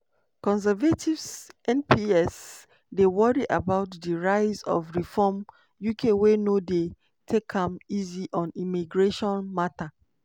conservative mps dey worry about di rise of reform uk wey no dey take am easy on immigration mata.